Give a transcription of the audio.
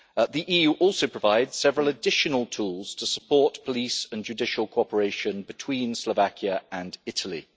The EU also provides several additional tools to support police and judicial cooperation between Slovakia and Italy.